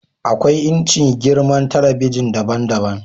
akwai inci/girman talabijin daban-daban